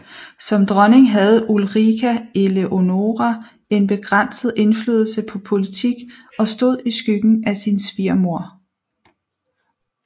Som dronning havde Ulrika Eleonora en begrænset indflydelse på politik og stod i skyggen af sin svigermor